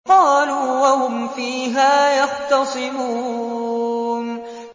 قَالُوا وَهُمْ فِيهَا يَخْتَصِمُونَ